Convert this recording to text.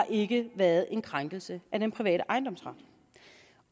ikke været en krænkelse af den private ejendomsret